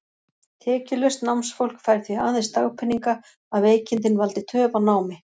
Tekjulaust námsfólk fær því aðeins dagpeninga, að veikindin valdi töf á námi.